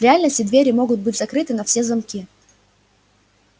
в реальности двери могут быть закрыты на все замки